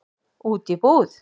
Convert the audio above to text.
Út í búð?